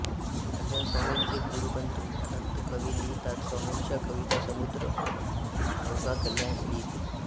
कल्याणस्वामींचे गुरुबंधू अनंत कवी लिहितात स्वामींचा कवितासमुद्र अवघा कल्याण लिहितसे